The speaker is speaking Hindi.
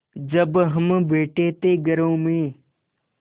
जब हम बैठे थे घरों में